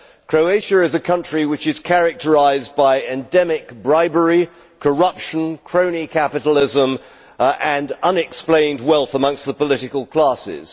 Croatia is a country which is characterised by endemic bribery, corruption, crony capitalism and unexplained wealth amongst the political classes.